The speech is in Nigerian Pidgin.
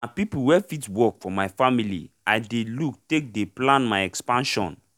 na people wey fit work for my family i dey look take dey plan my expansion